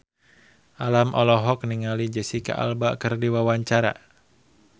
Alam olohok ningali Jesicca Alba keur diwawancara